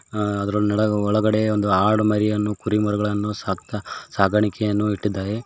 ಅ ಅದರ ಒಳಗಡೆ ಒಂದು ಆಡು ಮರಿಯನ್ನು ಕುರಿಮರಿಗಳನ್ನು ಸಕ್ತಾ ಸಾಗಾಣಿಕೆಯನ್ನು ಇಟ್ಟಿದ್ದಾರೆ.